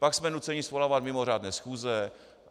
Pak jsme nuceni svolávat mimořádné schůze.